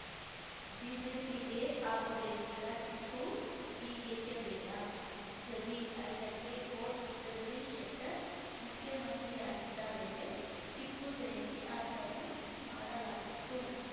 ಬಿಜೆಪಿಗೆ ಆಗ ಬೇಕಿದ್ದ ಟಿಪ್ಪು ಈಗೇಕೆ ಬೇಡ ಜಮೀರ್ ಐದಕ್ಕೆ ಕೋಟ್‌ ಜಗದೀಶ್‌ ಶೆಟ್ಟರ್ ಮುಖ್ಯಮಂತ್ರಿಯಾಗಿದ್ದ ವೇಳೆ ಟಿಪ್ಪು ಜಯಂತಿ ಆಚರಣೆ ಮಾಡಲಾಗಿತ್ತು